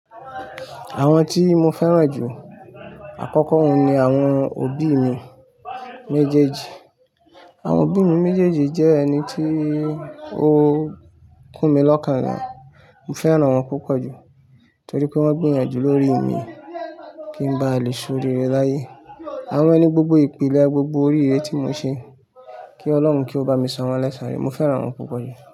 Àwọn tí mo fẹ́ràn jù àkọ́kọ́ ohun ni àwọn òbí mi méjèèjì. Àwọn òbí mi méjèèjì jẹ́ ẹni tí ó kún mi lọ́kàn ni. Mo fẹ́ràn wọn púpọ̀ jù torí pé wọ́n gbìyànjú lórí mi kí n ba lè ṣoríre láyé. Awon ní gbogbo ìpìlẹ̀, gbogbo oríire tí mo ṣe kí Ọlọ́run kí ó bá mi san wọ́n lẹ́sàn rere. Mo fẹ́ràn wọn púpọ̀ jù.